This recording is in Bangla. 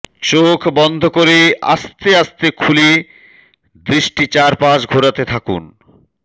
চোখ বন্ধ করে আস্তে আস্তে খুলে দৃষ্টি চারপাশ ঘোরাতে থাকুন